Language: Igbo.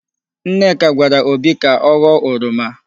Nneka gwara obi ka ọ ghọọ oroma.